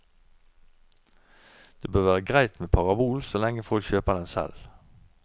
Det bør være greit med parabol så lenge folk kjøper den selv.